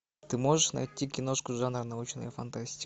ты можешь найти киношку жанра научная фантастика